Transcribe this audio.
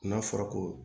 N'a fɔra ko